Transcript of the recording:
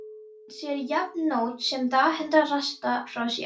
Hann sér jafnt nótt sem dag hundrað rasta frá sér.